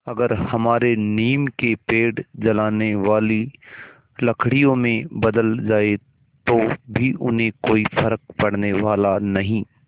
अगर हमारे नीम के पेड़ जलाने वाली लकड़ियों में बदल जाएँ तो भी उन्हें कोई फ़र्क पड़ने वाला नहीं